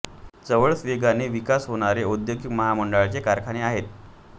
जवळच वेगाने विकास होणारी औद्योगिक महामडंळाचे कारखाने आहेत